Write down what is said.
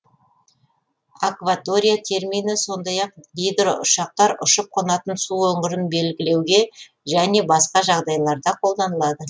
акватория термині сондай ақ гидроұшақтар ұшып қонатын су өңірін белгілеуге және басқа жағдайларда колданылады